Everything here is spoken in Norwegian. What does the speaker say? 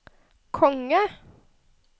konge